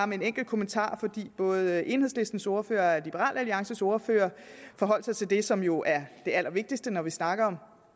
med en enkelt kommentar for både enhedslistens ordfører og liberal alliances ordfører forholdt sig til det som jo er det allervigtigste når vi snakker